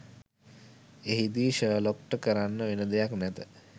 එහිදි ෂර්ලොක්ට කරන්න වෙන දෙයක් නැත